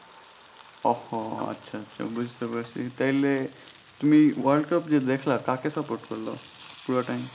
ওহ হো আচ্ছা আচ্ছা বুঝতে পারছি তাইলে তুমি world cup যে দেখলা কাকে support করলা পুরা time